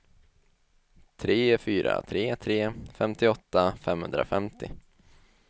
tre fyra tre tre femtioåtta femhundrafemtio